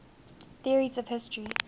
theories of history